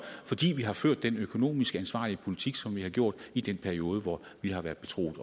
fordi vi har ført den økonomisk ansvarlige politik som vi har gjort i den periode hvor vi har været betroet